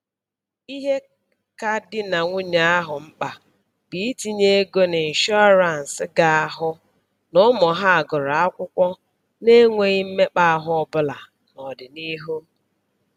Ihe ka di na nwunye ahụ mkpa bụ itinye ego n'ịnshọrance ga-ahụ n'ụmụ ha gụrụ akwụkwọ n'enweghị mmekpa ahụ ọbụla n'ọdịnihu